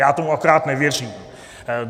Já tomu akorát nevěřím.